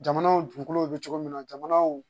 Jamanaw dugukolow bɛ cogo min na jamanaw